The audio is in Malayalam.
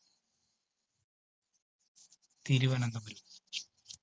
തിരുവനന്തപുരം.